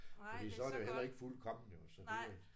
Fordi så er det jo heller ikke fuldkommen jo så det